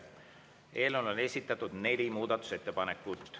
Eelnõu kohta on esitatud neli muudatusettepanekut.